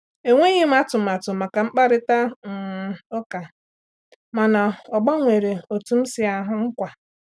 Enweghị m atụmatụ maka mkparịta um ụka, mana ọ gbanwere otú m si ahụ nkwa.